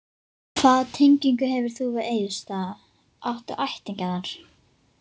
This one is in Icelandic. Hvaða tengingu hefurðu við Egilsstaða, áttu ættingja þar?